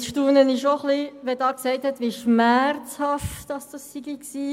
Nun staune ich doch ein wenig, wenn jetzt gesagt wird, wie schmerzhaft das gewesen sei.